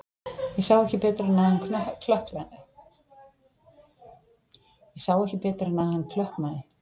Ég sá ekki betur en að hann klökknaði.